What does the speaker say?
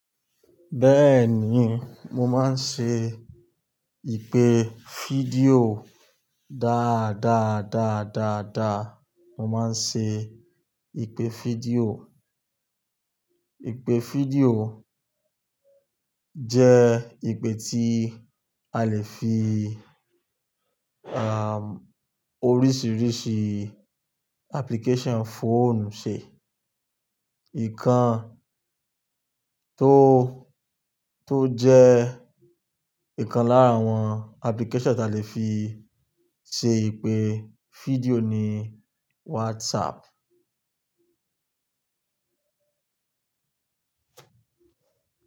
Bẹ́ẹ̀ni, mo máa ń ṣe ìpè fídíò dáadáa dáadáa dáa. Mo máa ń ṣe ìpè fídíò. Ìpè fídíò jẹ́ ìpè tí a lè fi, oríṣiríṣi application fóònù ṣe. Ékan tó, tó jẹ́ nǹkan lára àwọn application ta lè fi ṣe ìpè fídíò ni WhatsApp.